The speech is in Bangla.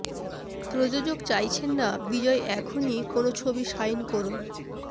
প্রযোজক চাইছেন না বিজয় এখনই কোনও ছবি সাইন করুন